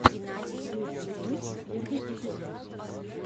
юпи тойс первый эпизод